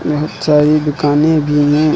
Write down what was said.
बहोत सारी दुकानें भी है।